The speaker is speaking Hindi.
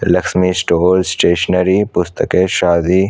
Lakshmi store stationery पुस्तकेशादी--